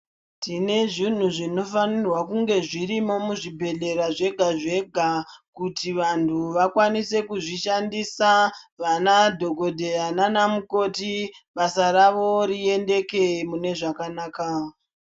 Tine zvintu zvinofanirwa kunge zvirimo muzvibhedhlera zvega zvega kuti vantu vakwanise kuzvishandisa vana dhokodheya nanamukoti basa rawo riendeke mune zvakanaka.